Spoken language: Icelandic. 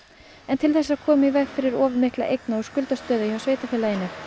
til þess að koma í veg fyrir of mikla eigna og skuldastöðu hjá sveitarfélaginu